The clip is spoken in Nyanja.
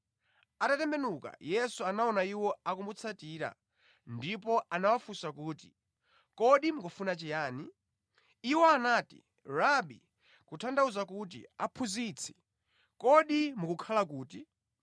Atatembenuka, Yesu anaona iwo akumutsatira ndipo anawafunsa kuti, “Kodi mukufuna chiyani?” Iwo anati, “Rabi (kutanthauza kuti Aphunzitsi), kodi mukukhala kuti?”